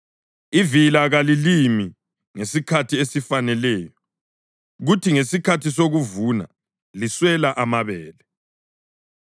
Ivila kalilimi ngesikhathi esifaneleyo; kuthi ngesikhathi sokuvuna liswele amabele.